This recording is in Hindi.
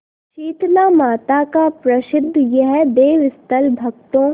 शीतलामाता का प्रसिद्ध यह देवस्थल भक्तों